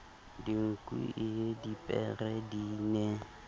dinku ie dipere di ne